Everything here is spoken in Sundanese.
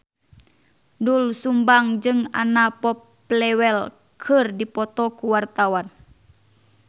Doel Sumbang jeung Anna Popplewell keur dipoto ku wartawan